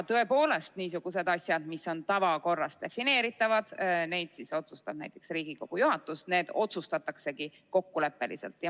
Tõepoolest, niisuguseid asju, mis on tavakorras defineeritavad, otsustab näiteks Riigikogu juhatus, need otsustataksegi kokkuleppeliselt.